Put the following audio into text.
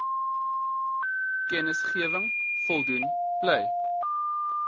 kennisgewing voldoen bly